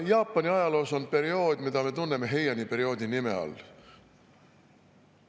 Jaapani ajaloos on periood, mida me tunneme Heiani perioodi nime all.